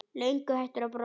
Löngu hættur að brosa.